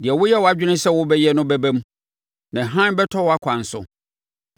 Deɛ woyɛ wʼadwene sɛ wobɛyɛ no bɛba mu, na hann bɛtɔ wʼakwan so.